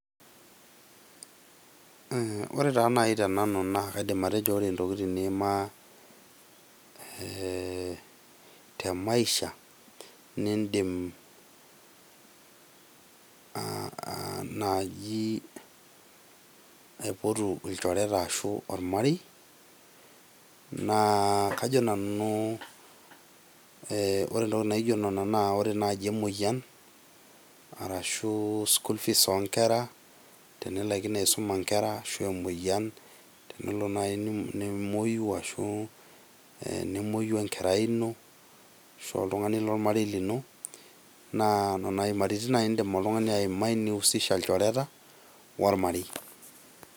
Ore taa nai te nanu naa kaidim atejo kore ntokitin niima eee te maisha niindim aa aa naaji aipotu ilchoreta ashu ormarei naa kajo nanu ore entoki naijo nena naa ore naaji emoyian arashu school fees o nkera tenilaikino aisuma nkera ashu a emyoyian tenelo nai nimuoyu ashu nemueyu enkerai ino oltung'ani lormarei lino naa nina imaritin indim oltung'ani aimai ni husisha ilchoreta ormarei.